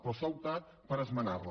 però s’ha optat per esmenar la